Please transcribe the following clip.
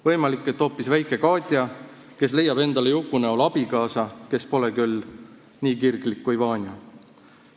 Võimalik, et see on hoopis väike Katja, kes leiab endale Juku näol abikaasa, kes pole küll nii kirglik kui Vanja.